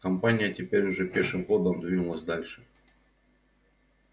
компания теперь уже пешим ходом двинулась дальше